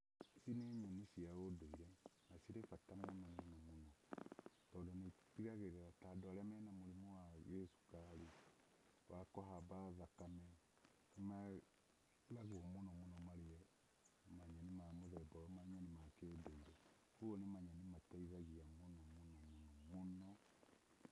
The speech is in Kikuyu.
Ici nĩ nyeni cia ũndũire na nĩ cirĩ bata mũno mũno mũno, tondũ nĩ itigagĩrĩra ta andũ arĩa me na mũrimũ wa gĩcukari, wa kũhamba thakame, nĩ meragwo mũno mũno marĩe manyeni ma mũthemba ũyũ, manyeni ma kĩndũire, kũguo nĩ manyeni mateithagia mũno mũno mũno, mũno.